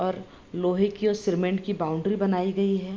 और लोहे की और सिमेंट की बाउंड्री बनाई गयी है।